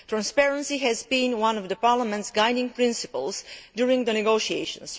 Transparency has been one of Parliament's guiding principles during the negotiations.